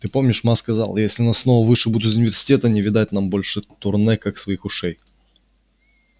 ты помнишь ма сказала если нас снова вышибут из университета не видать нам большого турне как своих ушей